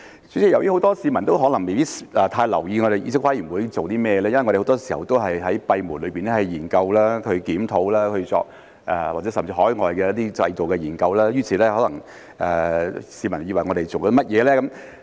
主席，很多市民可能未必太留意議事規則委員會是做甚麼的，因為我們很多時候都是閉門研究、檢討甚至是海外進行的一些研究，於是可能便會有市民以為我們在做甚麼呢？